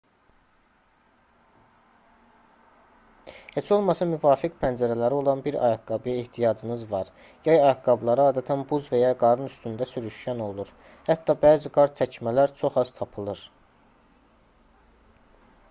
heç olmasa müvafiq pəncələri olan bir ayaqqabıya ehtiyacınız var yay ayaqqabıları adətən buz və ya qarın üstündə sürüşkən olur hətta bəzi qar çəkmələr çox az tapılır